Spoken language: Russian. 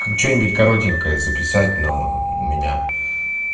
как что-нибудь коротенькое записать но меня